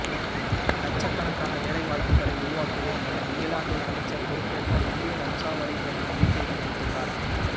லட்சக்கணக்கான வேலை வாய்ப்புகளை உருவாக்குவேன் என இங்கிலாந்தில் அமைச்சர் பொறுப்பேற்ற இந்திய வம்சாவளி பெண் நம்பிக்கை தெரிவித்துள்ளார்